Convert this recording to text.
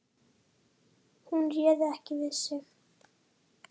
Hún réði ekki við sig.